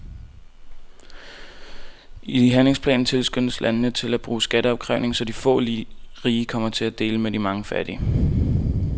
I handlingsplanen tilskyndes landene til at bruge skatteopkrævning, så de få rige kommer til at dele med de mange fattige.